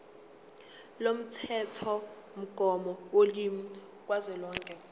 lomthethomgomo wolimi kazwelonke